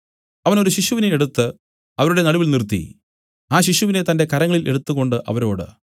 അവൻ ഒരു ശിശുവിനെ എടുത്തു അവരുടെ നടുവിൽ നിർത്തി ആ ശിശുവിനെ തന്റെ കരങ്ങളിൽ എടുത്തുംകൊണ്ട് അവരോട്